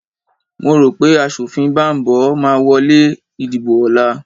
Mo rò pé aṣòfin Bambo máa wọ lé ìdìbò ọ̀la